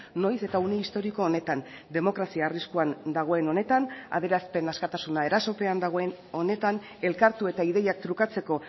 noiz eta une historiko honetan demokrazia arriskuan dagoen honetan adierazpen askatasuna erasopean dagoen honetan elkartu eta ideiak trukatzeko